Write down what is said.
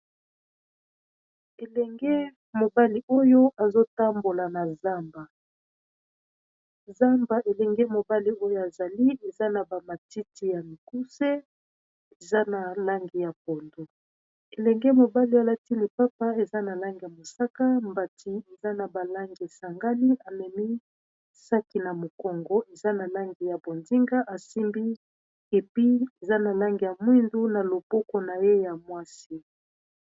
Elenge mobali oyo azotambola na zamba. zamba elenge mobali oyo azali eza na ba matiti ya mikuse eza na langi ya pondu elenge mobali alati lipapa eza na langi ya mosaka mbati eza na balange sangali amemi saki na mokongo eza na langi ya bondinga asimbi epi eza na lange ya mwindu na loboko na ye ya mwasi